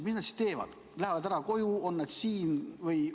Mis nad siis teevad, kas lähevad ära koju või on nad siin?